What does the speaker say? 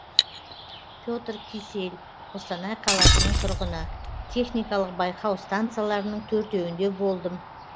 пе тр кисель қостанай қаласының тұрғыны техникалық байқау станцияларының төртеуінде болдым